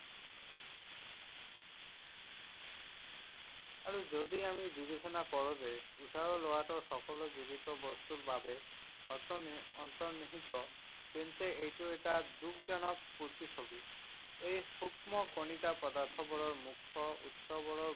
আৰু যদি আমি বিবেচনা কৰোঁ যে উশাহ লোৱাটো সকলো জীৱিত বস্তুৰ বাবে অন্তৰ্নিহিত, তেন্তে এইটো এটা দুখজনক প্ৰতিচ্ছবি। এই সূক্ষ্ম কণিকা পদাৰ্থবোৰৰ মুখ্য উৎসবোৰৰ